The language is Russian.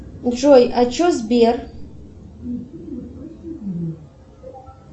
джой а че сбер